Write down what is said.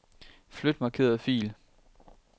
Flyt markerede fil.